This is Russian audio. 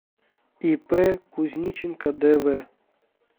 ип кузниченко дв